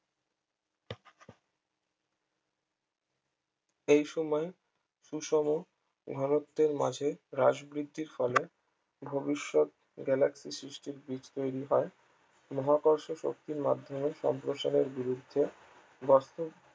এইসময় সুষম ঘনত্বের মাঝে হ্রাস বৃদ্ধির ফলে ভবিষ্যৎ galaxy এর সৃষ্টির বীজ তৈরি হয় মহাকর্ষ শক্তির মাধ্যমে সম্প্রসারের বিরুদ্ধে বাস্তব